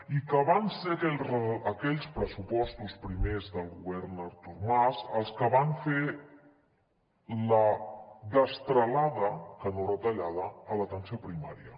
i que van ser aquells pressupostos primers del govern artur mas els que van fer la destralada que no retallada a l’atenció primària